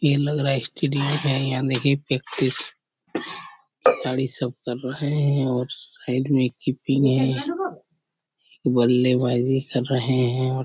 ये लग रहा है स्टेडियम है मेरी प्रैक्टिस खिलाडी सबकर रहे है और साइड में एक कीपिंग है बल्लेबाजी कर रहे है और --